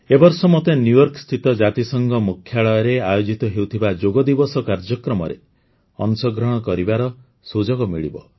ଏ ବର୍ଷ ମୋତେ ନ୍ୟୁୟର୍କସ୍ଥିତ ଜାତିସଂଘ ମୁଖ୍ୟାଳୟରେ ଆୟୋଜିତ ହେଉଥିବା ଯୋଗଦିବସ କାର୍ଯ୍ୟକ୍ରମରେ ଅଂଶଗ୍ରହଣ କରିବାର ସୁଯୋଗ ମିଳିବ